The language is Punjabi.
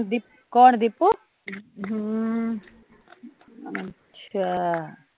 ਕੋਣ, ਦੀਪੁ ਹਮ , ਅੱਛਾ